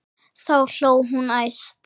Þá hló hún hæst.